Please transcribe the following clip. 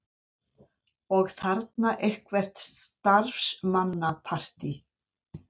Og þarna eitthvert starfsmannapartí.